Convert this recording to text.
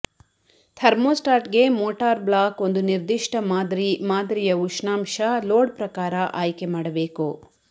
ಥರ್ಮೋಸ್ಟಾಟ್ಗೆ motor block ಒಂದು ನಿರ್ದಿಷ್ಟ ಮಾದರಿ ಮಾದರಿಯ ಉಷ್ಣಾಂಶ ಲೋಡ್ ಪ್ರಕಾರ ಆಯ್ಕೆ ಮಾಡಬೇಕು